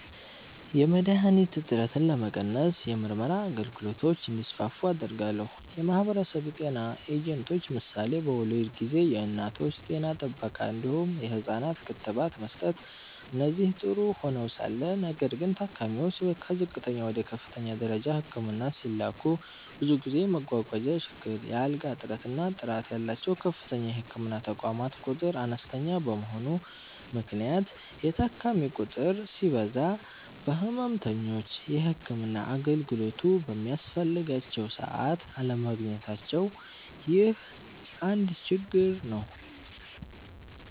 .የመድሀኒት እጥረትን ለመቀነስ የምርመራ አገልግሎቶች እንዲስፋፉ አደርጋለሁ። .የማህበረሰብ ጤና ኤጀንቶች ምሳሌ በወሊድ ጊዜ የእናቶች ጤና ጥበቃ እንዲሁም የህፃናት ክትባት መስጠት እነዚህ ጥሩ ሆነዉ ሳለ ነገር ግን ታካሚዎች ከዝቅተኛ ወደ ከፍተኛ ደረጃ ህክምና ሲላኩ ብዙ ጊዜ መጓጓዣ ችግር፣ የአልጋ እጥረት እና ጥራት ያላቸዉ ከፍተኛ የህክምና ተቋማት ቁጥር አነስተኛ በመሆኑ ምክንያት የታካሚ ቁጥር ሲበዛ ህመምተኞች የህክምና አገልግሎቱ በሚያስፈልጋቸዉ ሰዓት አለማግኘታቸዉ ይህ አንድ ችግር ነዉ።